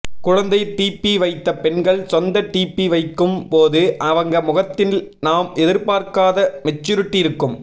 குழந்தை டிபி வைத்த பெண்கள் சொந்த டிபி வைக்கும்போது அவங்க முகத்தில் நாம் எதிர்பார்க்காத மெச்சூரிட்டி இருக்கும்